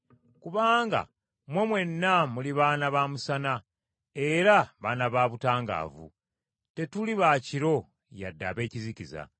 Kubanga mmwe mwenna muli baana ba musana era baana ba butangaavu. Tetuli ba kiro yadde ab’ekizikiza.